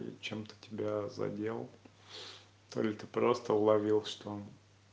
чем-то тебя задел то это просто уловил что он